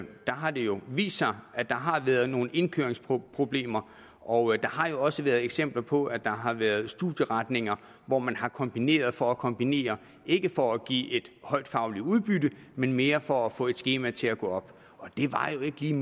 der har det jo vist sig at der har været nogle indkøringsproblemer og der har jo også været eksempler på at der har været studieretninger hvor man har kombineret for at kombinere ikke for at give et højt fagligt udbytte men mere for at få et skema til at gå op og det var jo ikke lige